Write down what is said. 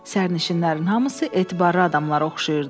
Sərnişinlərin hamısı etibarlı adamlara oxşayırdı.